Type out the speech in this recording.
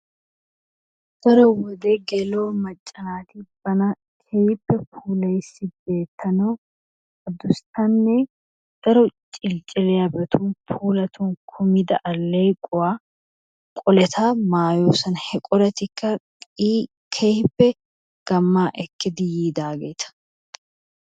Daro wode gella''o macca naati bana keehippe puulayissi beettanawu adussanne daro ciliclliyabatun puulatun kummida alleequwaa qoleta maayyoosona. he qoletikka qi keehippe gammaa ekkidi yiidaageeta.